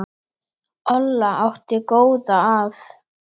Olla átti góða að.